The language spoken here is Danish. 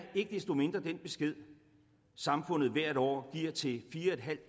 ikke desto mindre den besked samfundet hvert år giver til fire